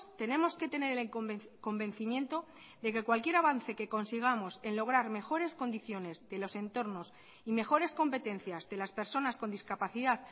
tenemos que tener convencimiento de que cualquiera avance que consigamos en lograr mejores condicionesde los entornos y mejores competencias de las personas con discapacidad